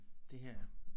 Det her